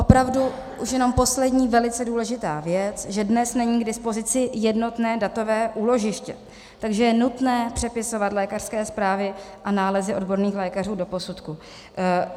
Opravdu už jenom poslední velice důležitá věc, že dnes není k dispozici jednotné datové úložiště, takže je nutné přepisovat lékařské zprávy a nálezy odborných lékařů do posudku.